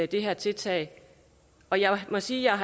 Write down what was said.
det her tiltag og jeg må sige at